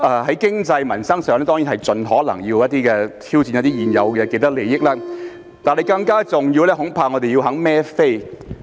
在經濟和民生上，當然盡可能要挑戰一些現有的既得利益，但更重要的是，恐怕我們要願意"孭飛"。